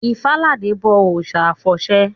Ifáladé n bọ òòsà àfọ̀sẹ